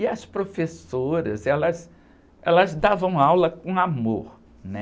E as professoras, elas, elas davam aula com amor, né?